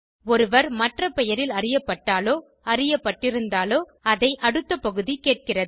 ஒருவர் மற்ற பெயரில் அறியப்பட்டாலோ அறியப்பட்டிருந்தாலோ அதை அடுத்த பகுதி கேட்கிறது